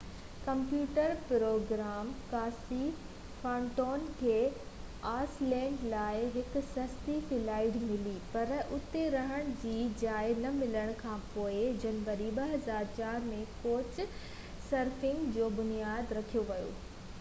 computer programmer Casey Fenton کي Iceland لاءِ هڪ سستي فلائيٽ ملي پر اتي رهڻ جي جاءِ نه ملڻ کان پوءِ جنوري 2004 ۾ ڪوچ سرفنگ جو بنياد رکيو ويو